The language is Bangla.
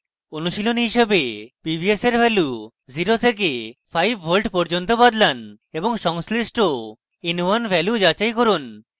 অনুশীলনী হিসাবেpvs এর ভ্যালু 0 থেকে 5 ভোল্ট পর্যন্ত বদলান এবং সংশ্লিষ্ট in1 ভ্যালু যাচাই করুন